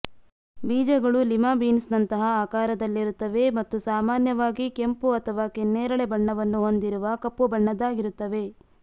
ಬೀಜಗಳು Lima beans ನಂತಹ ಆಕಾರದಲ್ಲಿರುತ್ತವೆ ಮತ್ತು ಸಾಮಾನ್ಯವಾಗಿ ಕೆಂಪು ಅಥವಾ ಕೆನ್ನೇರಳೆ ಬಣ್ಣವನ್ನು ಹೊಂದಿರುವ ಕಪ್ಪು ಬಣ್ಣದ್ದಾಗಿರುತ್ತವೆ